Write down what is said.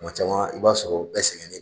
Kuma caman i b'a sɔrɔ bɛɛ sɛgɛnnen